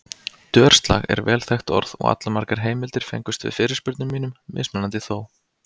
Dörslag er vel þekkt orð og allmargar heimildir fengust við fyrirspurnum mínum, mismunandi þó.